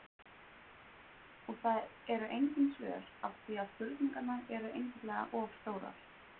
Og það eru engin svör af því að spurningarnar eru einfaldlega of stórar.